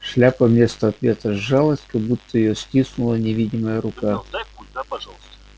шляпа вместо ответа сжалась как будто её стиснула невидимая рука